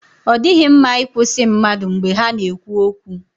Ọ dịghị mma ị kwụsị mmadụ mgbe ha ka na-ekwu okwu.